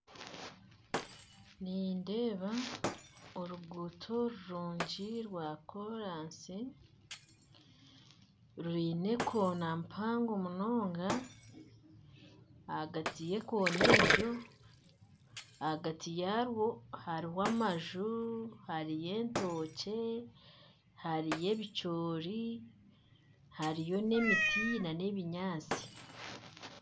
Nindeeba oruguto rurungi rwa koraasi rwine ekoona mpango munonga ahagati y'ekoona egyo ahagati yarwo hariho amaju hariyo entookye hariyo ebikyori hariyo n'emiti n'ebinyaatsi